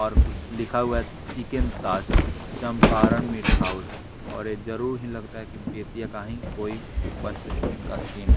और कुछ लिखा हुआ है चिकन तास चंपारण मीट हाउस और ये जरूर ही लगता है कि बेतिया का ही कोई बस इनका सीन है।